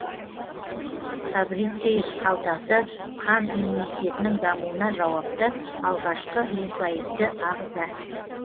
фабрициев қалтасы қан иммунитетінің дамуына жауапты алғашқы лимфоидты ағза